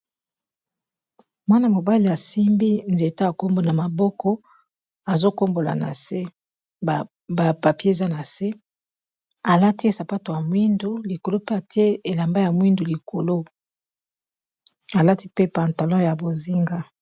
Mwana-mobali asimbi nzete ya kombo na maboko azokombola na se ba papier eza na se alati sapato ya mwindu likolo pe atie elamba ya mwindu likolo alati pe pantalon ya bozinga.